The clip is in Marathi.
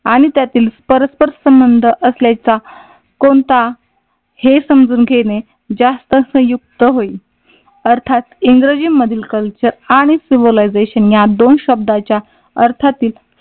आणि त्यातील परस्पर संबंध असल्याचा कोणता? हे समजून घेणे जास्त संयुक्त होईल. अर्थात इंग्रजी मधील कल्चर आणि सिव्हिलायझेशन या दोन शब्दाच्या अर्थातील